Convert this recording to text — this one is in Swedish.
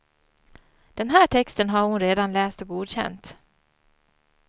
Den här texten har hon redan läst och godkänt.